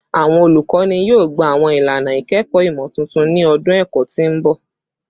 Awọn olukọni yoo gba awọn ilana ikẹkọ imotuntun ni ọdun ẹkọ ti n bọ